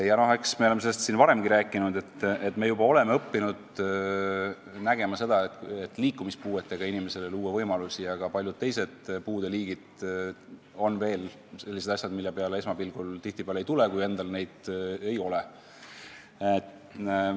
Eks me oleme sellest siin varemgi rääkinud, et me juba oleme harjunud nägema, et liikumispuudega inimestele luuakse võimalusi, aga paljud teised puude liigid on sellised, mille peale esmapilgul tihtipeale ei tule, kui endal neid probleeme ei ole.